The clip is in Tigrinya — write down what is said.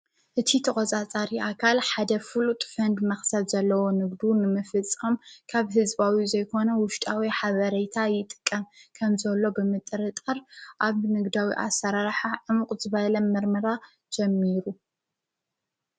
እቲ ተወፃፃሪ ኣካል ሓደ ፍሉጥ ፍንድ መኽሰብ ዘለዎ ንግዱ ንምፍጽም ካብ ሕዝባዊ ዘይኮነ ውሽጣዊ ኃበረይታ ይጥቀ ከም ዘሎ ብምጥሪ ጠር ኣብ ነግዳዊ ኣሠራራሓሕ ዕምቝ ዝበይለም ምርምራ ጀሚሩ